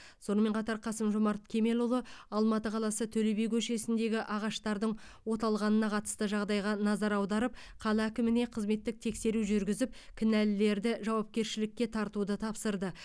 сонымен қатар қасым жомарт кемелұлы алматы қаласы төле би көшесіндегі ағаштардың оталғанына қатысты жағдайға назар аударып қала әкіміне қызметтік тексеру жүргізіп кінәлілерді жауапкершілікке тартуды тапсырды